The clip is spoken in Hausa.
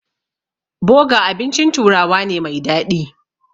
Boga abincin turawa ne mai daɗi.